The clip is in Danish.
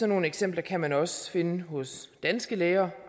nogle eksempler kan man også finde hos danske læger